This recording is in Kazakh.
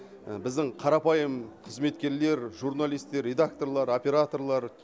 біздің қарапайым қызметкерлер журналистер редакторлар операторлар